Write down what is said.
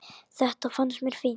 Þetta fannst mér fínt.